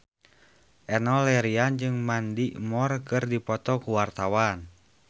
Enno Lerian jeung Mandy Moore keur dipoto ku wartawan